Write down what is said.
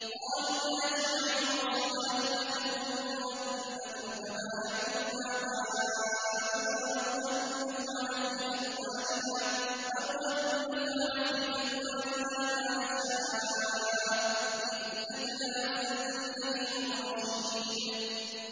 قَالُوا يَا شُعَيْبُ أَصَلَاتُكَ تَأْمُرُكَ أَن نَّتْرُكَ مَا يَعْبُدُ آبَاؤُنَا أَوْ أَن نَّفْعَلَ فِي أَمْوَالِنَا مَا نَشَاءُ ۖ إِنَّكَ لَأَنتَ الْحَلِيمُ الرَّشِيدُ